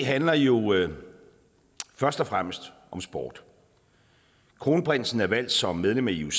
handler jo først og fremmest om sport kronprinsen er valgt som medlem af ioc